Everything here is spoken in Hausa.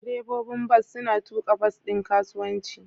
Direbobin bas suna tuka bas ɗin kasuwanci.